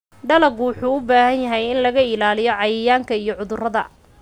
Dalaggu wuxuu u baahan yahay in laga ilaaliyo cayayaanka iyo cudurrada.